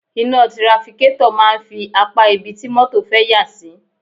Iná trafikétọ̀ máa ń fi apá ibi tí mọ́tọ̀ fẹ́ yà sí.